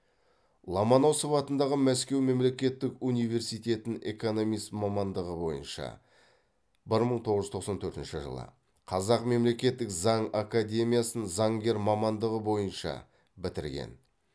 ломоносов атындағы мәскеу мемлекеттік университетін экономист мамандығы бойынша бір мың тоғыз жүз тоқсан төртінші жылы қазақ мемлекеттік заң академиясын заңгер мамандығы бойынша бітірген